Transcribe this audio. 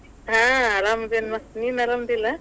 ಹ ಆರಾಮದಿನಿಮ ನೀನ್ ಆರಾಮದಿಲ್ಲ?